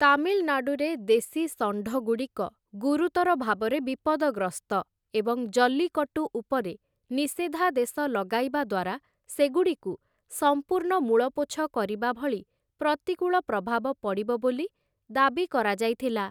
ତାମିଲନାଡ଼ୁରେ ଦେଶୀ ଷଣ୍ଢଗୁଡ଼ିକ ଗୁରୁତର ଭାବରେ ବିପଦଗ୍ରସ୍ତ ଏବଂ ଜଲ୍ଲିକଟ୍ଟୁ ଉପରେ ନିଷେଧାଦେଶ ଲଗାଇବା ଦ୍ୱାରା ସେଗୁଡ଼ିକୁ ସମ୍ପୂର୍ଣ୍ଣ ମୂଳପୋଛ କରିବାଭଳି ପ୍ରତିକୂଳ ପ୍ରଭାବ ପଡ଼ିବ ବୋଲି ଦାବି କରାଯାଇଥିଲା ।